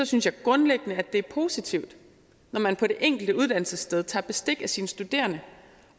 synes jeg grundlæggende det er positivt når man på det enkelte uddannelsessted tager bestik af sine studerende